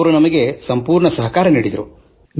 ಅವರು ನಮಗೆ ಸಂಪೂರ್ಣ ಸಹಕಾರ ನೀಡಿದರು